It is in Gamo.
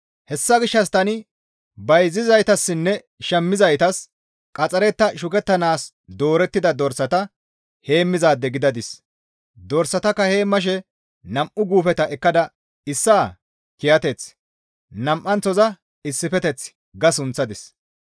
Hessa gishshas tani bayzizaytassinne shammizaytas qaxxaretta shukettanaas doorettida dorsata heemmizaade gidadis; dorsatakka heemmashe nam7u guufeta ekkada issaa, «Kiyateth» nam7anththoza, «Issifeteth» ga sunththadis.